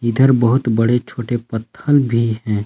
इधर बहोत बड़े छोटे पत्थल भी हैं।